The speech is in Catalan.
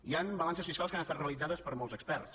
hi han balances fiscals que han estat realitzades per molts experts